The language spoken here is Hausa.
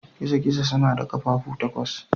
Gizo-gizo suna da ƙafafu takwas.